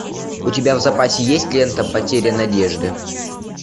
у тебя в запасе есть лента потеря надежды